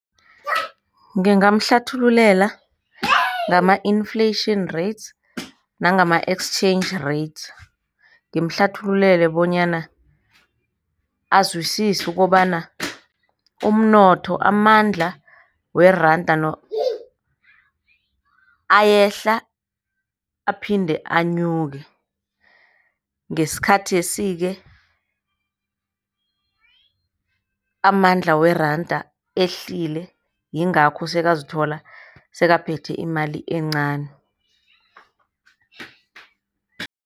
Ngingamhlathululela ngama-inflation rates nangama-exchange rates. Ngimhlathululele bonyana azwisise ukobana umnotho, amandla weranda ayehla, aphinde anyuke. Ngesikhathesi-ke amandla weranda ehlile yingakho sekayazithola sekaphethe imali encani.